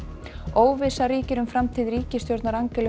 óvissa ríkir um framtíð ríkisstjórnar Angelu